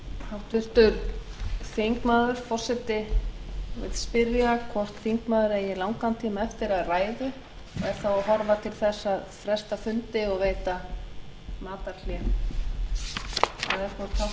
háttvirtur þingmaður forseti vill spyrja hvort þingmaður eigi langan tíma eftir af ræðu og er þá að horfa til þess að fresta fundi og veita matarhlé eða hvort háttvirtur